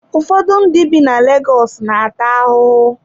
Ụfọdụ ndị bi na Legọs na-ata ahụhụ.